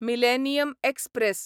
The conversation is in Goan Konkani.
millennium express